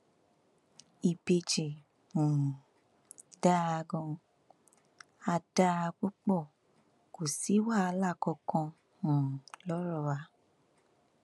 ìbejì um dáa ganan á dáa púpọ kó sì wàhálà kankan um lọrọ wa